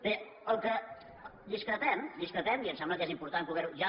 bé del que discrepem discrepem i em sembla que és important poder ho